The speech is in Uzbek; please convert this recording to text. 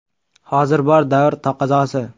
Hozir bor, davr taqozosi.